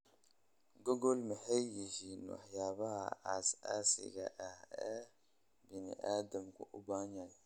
google maxay yihiin waxyaabaha aasaasiga ah ee bani'aadamku u baahan yahay